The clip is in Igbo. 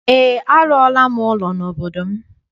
Eé, arụọla m ụlọ n'obodo m.